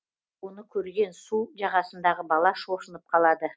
оны көрген су жағасындағы бала шошынып қалады